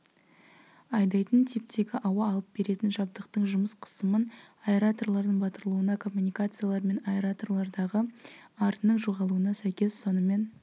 айдайтын типтегі ауа алып беретін жабдықтың жұмыс қысымын аэраторлардың батырылуына коммуникациялар мен аэраторлардағы арынның жоғалуына сәйкес сонымен